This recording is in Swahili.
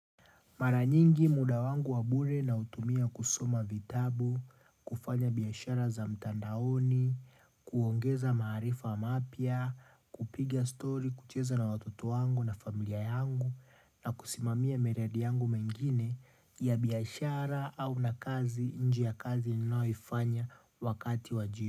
Maranyingi muda wangu wa bure nautumia kusoma vitabu, kufanya biashara za mtandaoni, kuongeza maarifa mapya, kupiga story kucheza na watoto wangu na familia yangu na kusimamia miradi yangu mengine ya biashara au na kazi nje ya kazi ninaoifanya wakati wa jibu.